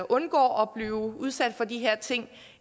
undgår at blive udsat for de her ting